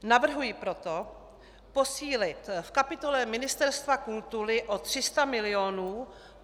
Navrhuji proto posílit v kapitole Ministerstva kultury o 300 mil.